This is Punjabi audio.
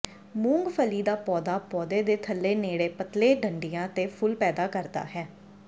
ਮੂੰਗਫਲੀ ਦਾ ਪੌਦਾ ਪੌਦੇ ਦੇ ਥੱਲੇ ਨੇੜੇ ਪਤਲੇ ਡੰਡਿਆਂ ਤੇ ਫੁੱਲ ਪੈਦਾ ਕਰਦਾ ਹੈ